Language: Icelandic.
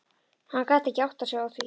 Hann gat ekki áttað sig á því.